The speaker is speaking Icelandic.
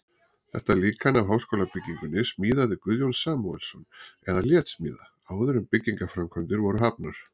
Þetta líkan af háskólabyggingunni smíðaði Guðjón Samúelsson eða lét smíða, áður en byggingarframkvæmdir voru hafnar.